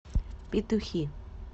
петухи